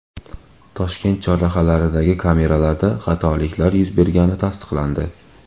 Toshkent chorrahalaridagi kameralarda xatoliklar yuz bergani tasdiqlandi .